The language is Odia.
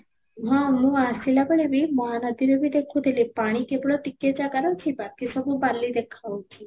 ହଁ, ମୁଁ ଆସିଲା ବେଳେ ବି ମହାନଦୀରେ ବି ଦେଖୁ ଥିଲି ପାଣି କେବଳ ଟକ ଜାଗାରେ ଅଛି ବାକି ସବୁ ବାଲି ଦେଖା ଯାଉଛି